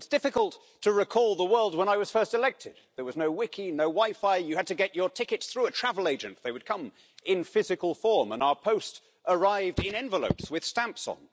It's difficult to recall the world when I was first elected. There was no Wiki, no WiFi, you had to get your tickets through a travel agent, they would come in physical form and our post arrived in envelopes with stamps on.